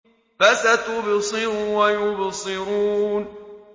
فَسَتُبْصِرُ وَيُبْصِرُونَ